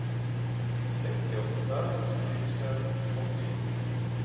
sextioåtta tusen åttiosju